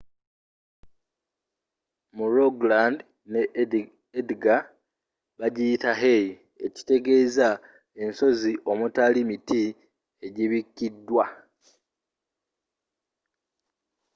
mu rogaland ne agder bagiyita hei” ekitegezza ensozi omutali miti egibikidwa